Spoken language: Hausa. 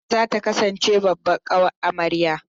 Hajara za ta kasance babbar ƙawar amarya.